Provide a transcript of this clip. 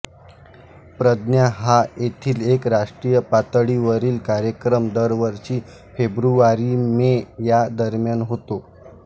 प्रज्ञा हा येथील एक राष्ट्रीय पातळीवरील कार्यक्रम दरवर्षी फेब्रुवारीमे या दरम्यान होतो